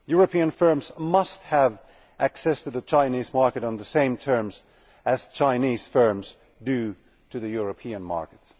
European firms must have access to the Chinese market on the same terms as Chinese firms have access to the European market.